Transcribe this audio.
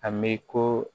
A mi ko